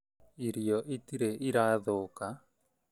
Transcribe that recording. Irio itirĩ ira thũka